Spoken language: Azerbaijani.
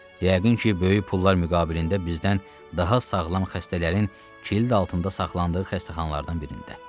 Yəqin ki, böyük pullar müqabilində bizdən daha sağlam xəstələrin kilid altında saxlandığı xəstəxanalardan birində.